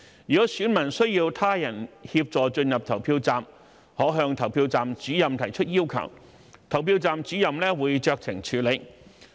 如選民需要他人協助進入投票站，可向投票站主任提出要求，投票站主任會酌情處理。